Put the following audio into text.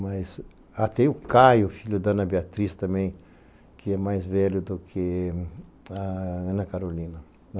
Mas até o Caio, filho da Ana Beatriz também, que é mais velho do que a Ana Carolina.